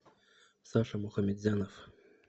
саша мухамедзянов